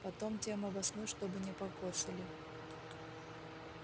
потом тем обоснуй чтобы не покоцали